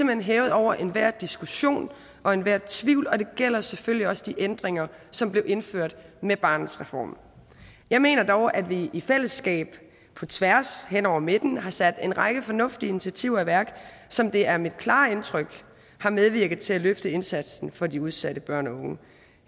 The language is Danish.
hen hævet over enhver diskussion og enhver tvivl og det gælder selvfølgelig også de ændringer som blev indført med barnets reform jeg mener dog at vi i fællesskab på tværs hen over midten har sat en række fornuftige initiativer i værk som det er mit klare indtryk har medvirket til at løfte indsatsen for de udsatte børn og unge